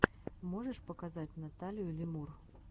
можешь показать наталию лемур